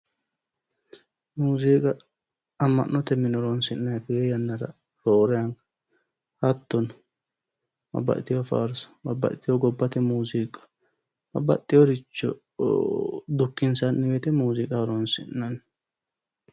muuziiqa amma'note mine horonsi'nayi tee yannara roore anga hattono babbadhiteyo faarso babbadhitiyoo gobbate muuziiqqa babaxiyooricho dukkinsanni woyite muuziiqa horonsi'nanni